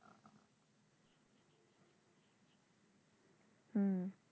হুম